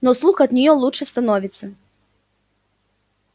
но слух от неё лучше становится